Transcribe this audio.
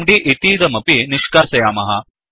MD इतीदमपि निष्कासयामः